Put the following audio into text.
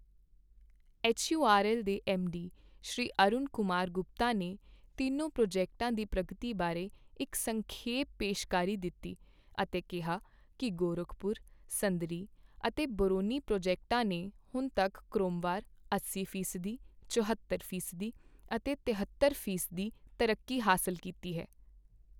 HURL ਦੇ MD Shri Arun Kumar Gupta ਨੇ ਤਿੰਨੋਂ ਪ੍ਰੋਜੈਕਟਾਂ ਦੀ ਪ੍ਰਗਤੀ ਬਾਰੇ ਇੱਕ ਸੰਖੇਪ ਪੇਸ਼ਕਾਰੀ ਦਿੱਤੀ ਅਤੇ ਕਿਹਾ ਕੀ ਗੋਰਖਪੁਰ, ਸਿੰਦਰੀ ਅਤੇ ਬਰੌਨੀ ਪ੍ਰੋਜੈਕਟਾਂ ਨੇ ਹੁਣ ਤੱਕ ਕ੍ਰਮਵਾਰ ਅੱਸੀ ਫ਼ੀਸਦੀ, ਚੁਹੌਤਰ ਫ਼ੀਸਦੀ ਅਤੇ ਤਹੇਤਰ ਫ਼ੀਸਦੀ ਤਰੱਕੀ ਹਾਸਲ ਕੀਤੀ ਹੈ।